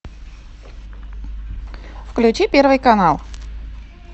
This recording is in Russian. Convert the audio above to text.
включи первый канал